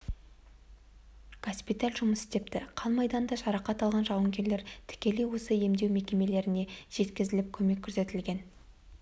госпиталь жұмыс істепті қан майданда жарақат алған жауынгерлер тікелей осы емдеу мекемелеріне жеткізіліп көмек көрсетілген